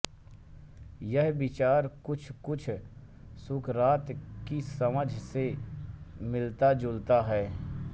यह विचार कुछकुछ सुकरात की समझ से मिलताजुलता है